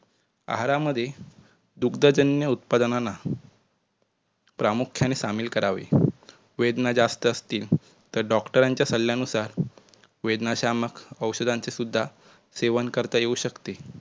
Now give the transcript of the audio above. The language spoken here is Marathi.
आहारामध्ये दुग्धजन्य उत्पादनांना प्रामुख्याने सामील करावे. वेदना जास्त असतील तर doctor च्या सल्यानुसार वेदनाशामक औषधांचे सुद्धा सेवन करता येऊ शकते.